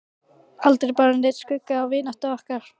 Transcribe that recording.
Aldrei bar neinn skugga á vináttu okkar.